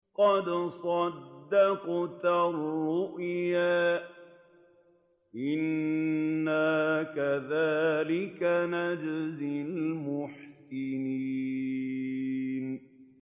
قَدْ صَدَّقْتَ الرُّؤْيَا ۚ إِنَّا كَذَٰلِكَ نَجْزِي الْمُحْسِنِينَ